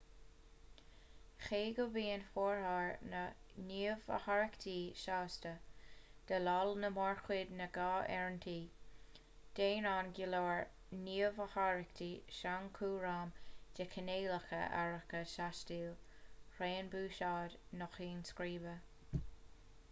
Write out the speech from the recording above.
cé go mbíonn formhór na ngníomhaireachtaí sásta déileáil le mórchuid na ngnáth áirithintí déanann go leor gníomhaireachtaí sainchúram de chineálacha áirithe taistil raon buiséid nó cinn scríbe